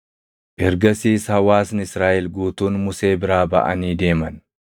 Ergasiis hawaasni Israaʼel guutuun Musee biraa baʼanii deeman;